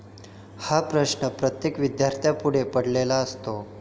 हा प्रश्न प्रत्येक विद्यार्थ्यांपुढे पडलेला असतो.